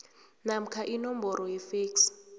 namkha inomboro yefeksi